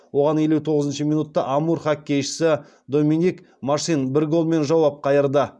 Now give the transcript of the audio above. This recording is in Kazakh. оған елу тоғызыншы минутта амур хоккейшісі доминик машин бір голмен жауап қайырды